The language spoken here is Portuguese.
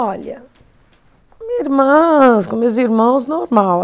Olha, minha irmãs, com meus irmãos, normal.